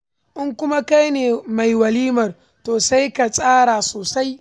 In kuma kai ne mai walimar, to sai ka tsara ta sosai.